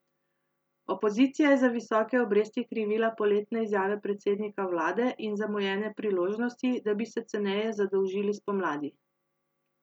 Opozicija je za visoke obresti krivila poletne izjave predsednika vlade in zamujene priložnosti, da bi se ceneje zadolžili spomladi.